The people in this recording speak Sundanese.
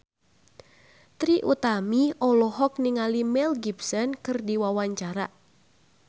Trie Utami olohok ningali Mel Gibson keur diwawancara